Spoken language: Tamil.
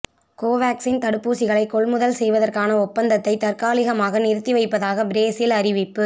கோவேக்சின் தடுப்பூசிகளை கொள்முதல் செய்வற்கான ஒப்பந்தத்தை தற்காலிமாக நிறுத்தி வைப்பதாக பிரேசில் அறிவிப்பு